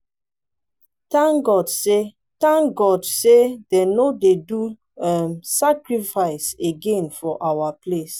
thank god say thank god say dem no dey do um sacrifice again for our place